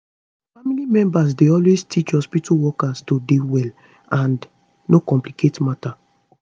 family members dey always teach hospitu workers to dey well and no complicate matter